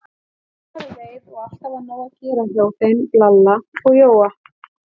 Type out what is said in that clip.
Sumarið leið og alltaf var nóg að gera hjá þeim Lalla og Jóa.